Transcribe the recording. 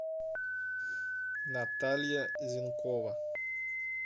наталья зенкова